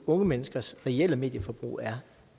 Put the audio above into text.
unge menneskers reelle medieforbrug er